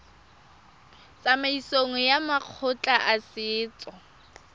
tsamaisong ya makgotla a setso